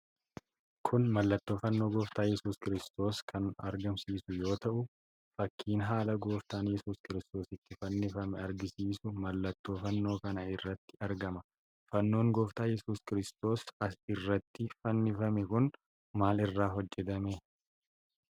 Kun mallattoo Fannoo gooftaa Yesuus Kiristoos kan agarsiisu yoo ta'u, fakkiin haala Gooftaan Yesuus Kiristoos itti fannifame agarsiisu mallattoo Fannoo kana irratti argama. Fannoon gooftaan Yasuus Kiristoos irratti fannifame kun maal irraa hojjatame?